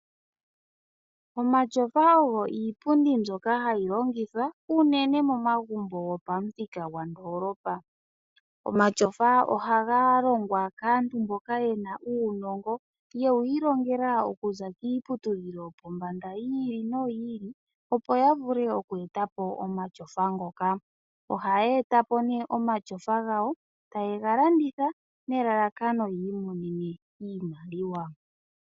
Omatyofa oyo iipundi ndjoka hayi longithwa okukutumba unene momagumbo ngoka geli pamuthika gwandoolopa. Omatyofa ohaga longwa kaantu mboka yena uunongo yewiilongela okuza kiiputudhilo yopawungomba opo yavule okweetapo omatyofa ngaka oha yeetapo née omatyofa ngawo eteye galanditha okwiimonena iiyemo.